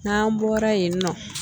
N'an bɔra yen nɔ